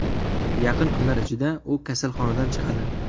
Yaqin kunlar ichida u kasalxonadan chiqadi.